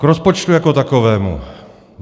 K rozpočtu jako takovému.